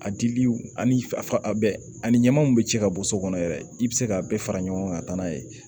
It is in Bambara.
A dili ani a bɛɛ ani ɲaman min bɛ ci ka bɔ so kɔnɔ yɛrɛ i bɛ se ka bɛɛ fara ɲɔgɔn kan ka taa n'a ye